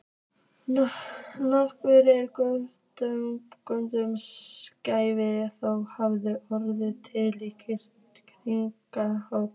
Nokkuð af göngunum gæti þó hafa orðið til við kvikuhlaup.